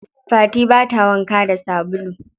Fati bata wanka da sabulu.